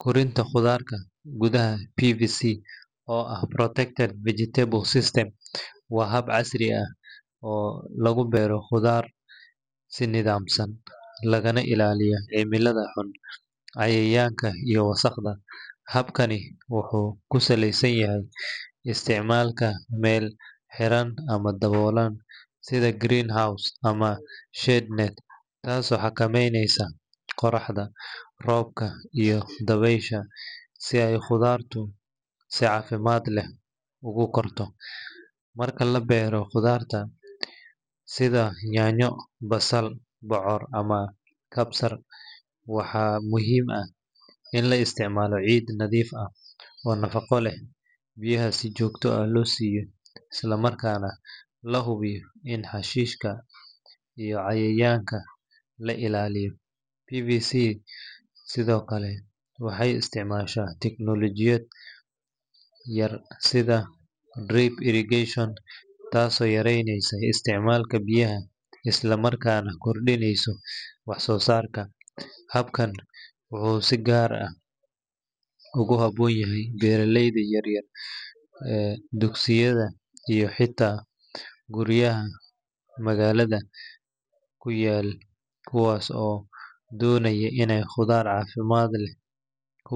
Korinta khudaarta gudaha PVCcs] oo ah Protected Vegetable System waa hab casri ah oo lagu beero khudaar si nidaamsan, lagana ilaaliyo cimilada xun, cayayaanka, iyo wasakhda. Habkani wuxuu ku salaysan yahay isticmaalka meel xiran ama daboolan sida greenhouse ama shade net, taasoo xakamaynaysa qorraxda, roobka iyo dabaysha si ay khudaartu si caafimaad leh ugu korto. Marka la beeraayo khudaarta sida yaanyo, basal, bocor ama kabsar, waxaa muhiim ah in la isticmaalo ciid nadiif ah oo nafaqo leh, biyaha si joogto ah loo siiyo, isla markaana la hubiyo in xashiishka iyo cayayaanka laga ilaaliyo. PVS sidoo kale waxay isticmaashaa tiknoolajiyad yar sida drip irrigation, taasoo yareyneysa isticmaalka biyaha isla markaana kordhinaysa wax-soosaarka. Habkan wuxuu si gaar ah ugu habboon yahay beeraleyda yaryar, dugsiyada, iyo xitaa guryaha magaalada ku yaal kuwaas oo doonaya inay khudaar caafimaad leh ka.